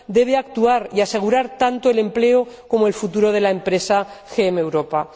Debe actuar y asegurar tanto el empleo como el futuro de la empresa GM Europa.